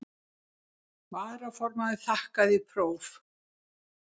Kona hans kom fljótlega að vestan og leysti hann út með silfri.